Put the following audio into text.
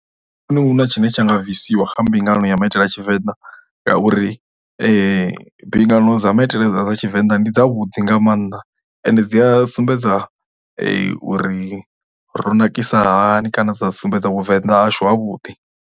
A thi vhoni hu na tshine tshi nga bvisiwa kha mbingano ya maitele a Tshivenḓa ngauri mbingano dza maitele dza Tshivenḓa ndi dzavhuḓi nga maanḓa ende dzi a sumbedza uri ro nakisa hani kana dza sumbedza vhuvenḓa hashu havhuḓi.